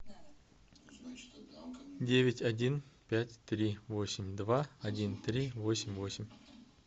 девять один пять три восемь два один три восемь восемь